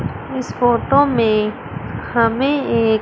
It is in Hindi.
इस फोटो में हमें एक--